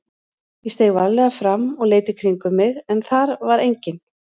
Ég steig varlega fram og leit í kringum mig en þar var enginn.